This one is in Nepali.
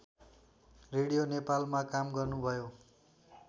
रेडियो नेपालमा काम गर्नुभयो